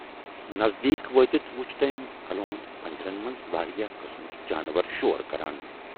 نزدیٖک وٲتِتھ وُچھ تمٔۍ الوند پِنجرن منز واریاہ قٕسمٕکۍ جانور شور کران۔